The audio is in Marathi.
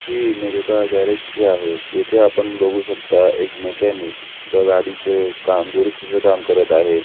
ही इमेज एका गॅरेज ची आहे इथे आपण बगु शकता एक मेक्यानिक एका गाडीचं काम दुरुस्थीच काम करत आहे.